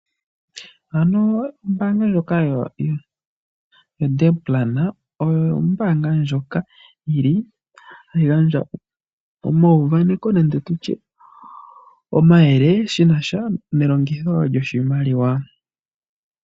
Ombaanga ndjoka yoNedplan oyo ombaanga ndjoka hayi gandja omauvaneko nande tutye omayele shinasha nelongitho lyoshimaliwa.